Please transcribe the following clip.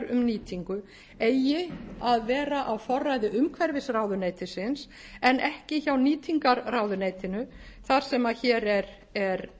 nýtingu eigi að vera á forræði umhverfisráðuneytisins en ekki hjá nýtingarráðuneytinu þar sem hér er